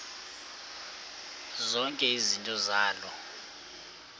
zonke izinto zaloo